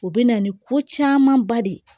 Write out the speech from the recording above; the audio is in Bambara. O bɛ na ni ko camanba de ye